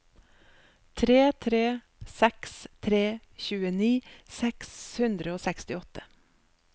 tre tre seks tre tjueni seks hundre og sekstiåtte